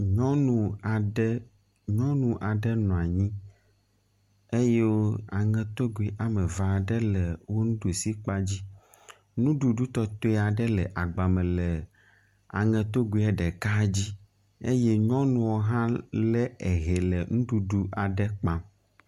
Nyɔnu aɖe, nyɔnu aɖe nɔ anyi eye aŋetogui woame eve aɖe le wò nuɖusi kpa dzi. Nuɖuɖu tɔtɔe aɖe le agba me le aŋetogoea ɖeka dzi eye nyɔnua hã lé ehe le nuɖuɖu aɖe kpam.